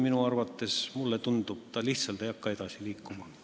Muidu, mulle tundub, see asi lihtsalt ei hakka edasi liikuma.